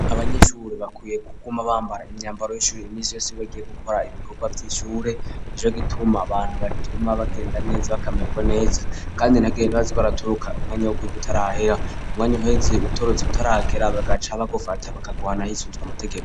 Abanyeshure bakwiye kuguma bambara imyambaro y'ishure imisi yose bagiye gukora ibikorwa vy'ishure nico gituma abantu batuma bagenda neza bakamerwa neza kandi ntihagire abaza baratoruka umwanya wo kwiga utarahera umwanya uheze utorotse utaregera bagaca bagufata bakaguhana hisunzwe amategeko.